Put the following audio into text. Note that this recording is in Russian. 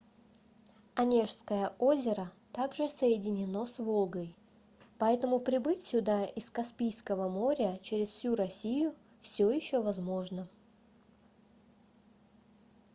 онежское озеро также соединено с волгой поэтому прибыть сюда из каспийского моря через всю россию всё ещё возможно